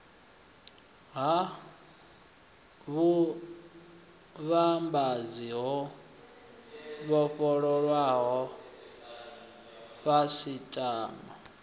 ha vhuvhambadzi ho vhofholowaho khasiṱama